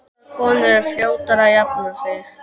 Fagrar konur eru fljótari að jafna sig.